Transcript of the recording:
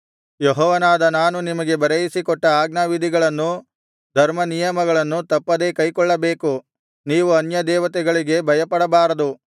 ಯೆಹೋವನಾದ ನಾನು ನಿಮಗೆ ಬರೆಯಿಸಿ ಕೊಟ್ಟ ಆಜ್ಞಾವಿಧಿಗಳನ್ನು ಧರ್ಮನಿಯಮಗಳನ್ನು ತಪ್ಪದೇ ಕೈಕೊಳ್ಳಬೇಕು ನೀವು ಅನ್ಯ ದೇವತೆಗಳಿಗೆ ಭಯಪಡಬಾರದು